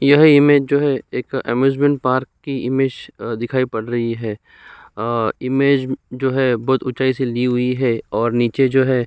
यह इमेज जो है एक अम्यूज़मेंट पार्क की इमेज दिखाई पड़ रही है आ इमेज जो है बोहोत ऊंचाई से ली हुई है और नीचे जो है --